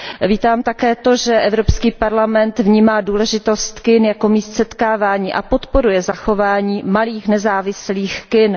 Vítám také to, že Evropský parlament vnímá důležitost kin jako míst setkávání a podporuje zachování malých nezávislých kin.